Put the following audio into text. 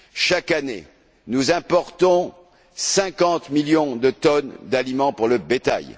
Chaque année, nous importons 50 millions de tonnes d'aliments pour le bétail.